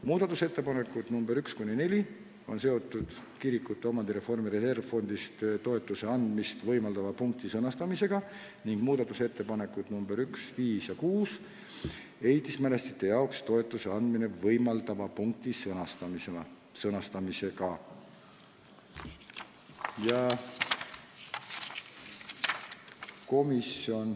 Muudatusettepanekud nr 1–4 on seotud kirikutele omandireformi reservfondist toetuse andmist võimaldava punkti sõnastamisega ning muudatusettepanekud nr 1, 5 ja 6 ehitismälestiste jaoks toetuse andmist võimaldava punkti sõnastamisega.